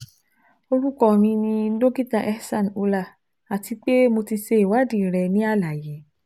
Orukọ mi ni Dokita Ehsan Ullah ati pe Mo ti ṣe iwadii rẹ ni alaye